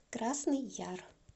красный яр